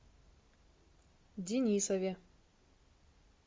денисове